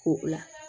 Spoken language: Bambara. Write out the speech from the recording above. Ko la